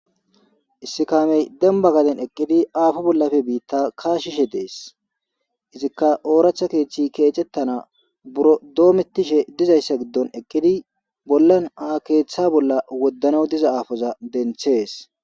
Issi kammey denbba bittan eqqidi affo bollappe bitta kashishe de's izzikka oratha keethe dometannaw burro bishe dees woddanw hannidda keetha de77ees.